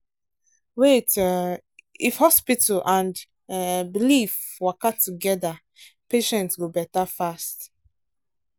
wait um if hospital and um belief waka together patient go better fast.